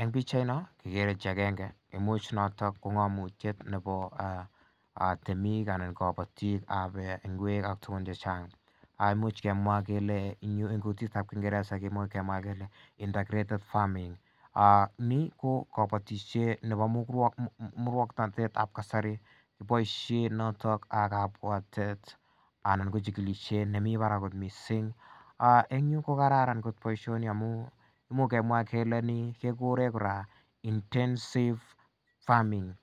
en pichait noon kekere chi agenge neimuch ko ko ng'amnotet nebo temik anan anan kabatik imuche kemwa kele en kutit tab kingereza kemwa kele intergreated farming ni ko kabatisiet nebo musuaknotet tab kasari kobaisien noto kabuatet anan ko chikilisiet nemi barak kot missing en yu kokraran kot boision imuch ke kele intensive farming